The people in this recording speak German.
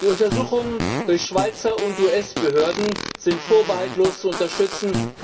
Die Untersuchungen durch Schweizer und US Behörden sind vorbehaltlos zu unterstützen.